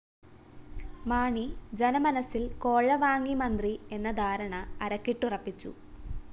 മാണി ജനമനസ്സില്‍ കോഴ വാങ്ങി മന്ത്രി എന്ന ധാരണ അരക്കിട്ടുറപ്പിച്ചു